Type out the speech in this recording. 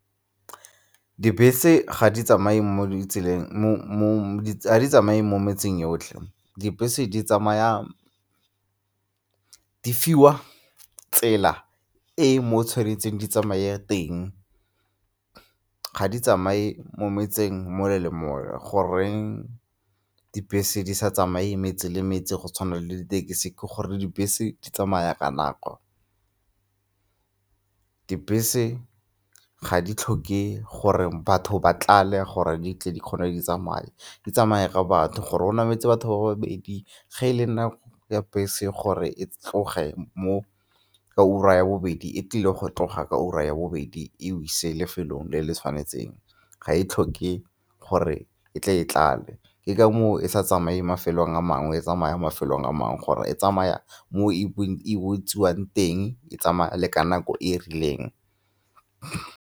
Dibese ga di tsamaye mo ditseleng, ga di tsamaye mo metseng yotlhe. Dibese di tsamaya, di fiwa tsela e mo tshwanetseng di tsamaye teng, ga di tsamaye mo metseng mole le mole, goreng dibese di sa tsamaye metse le metse go tshwana le ditekesi? Ke gore dibese di tsamaya ka nako, dibese ga di tlhoke gore batho ba tlale gore di tle di kgone di tsamaye, di tsamaya ka batho gore go nametse batho ba babedi, ge e le nako ya bese gore e tlogetse mo ka ura ya bobedi e tlile go tloga ka ura ya bobedi e go ise lefelong le le tshwanetseng, ga e tlhoke gore e tle e tlale. Ke ka moo e sa tsamaye mafelong a mangwe, e tsamaya mafelong a mangwe gore e tsamaya mo e botsiwang teng e tsamaya le ka nako e e rileng.